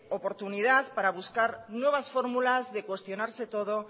oportunidad para buscar nuevas fórmulas de cuestionarse todo